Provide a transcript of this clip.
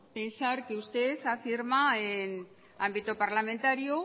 pensar que usted afirma en ámbito parlamentario